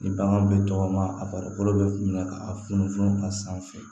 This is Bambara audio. Ni bagan bɛ tɔgɔma a farikolo bɛ minɛ ka funufunu a sanfɛ